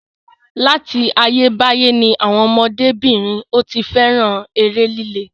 Láti ayé báyé ni àwọn ọmọdé-bìnrin ò tí fẹ́ràn eré líle.